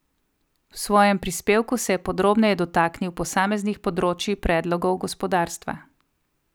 V svojem prispevku se je podrobneje dotaknil posameznih področij predlogov gospodarstva.